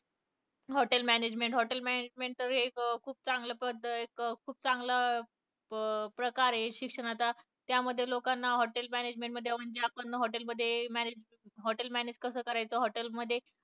Hotel management, hotel management हे एक खूप चांगलं, खूप चांगला प्रकार आहे शिक्षणाचा त्यामध्ये लोकांना hotel management म्हणजे आपण hotel मध्ये manage, hotel मध्ये manage कस करायचं